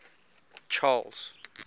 charles